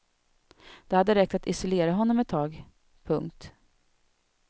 Det hade räckt att isolera honom ett tag. punkt